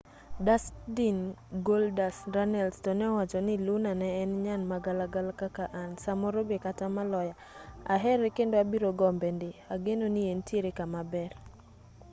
dustin goldust” runnels to ne owacho ni luna ne en nyan ma galagala kaka an. .. samoro be kata maloya. .. ahere kendo abiro gombe ndi. .. ageno ni entiere kama ber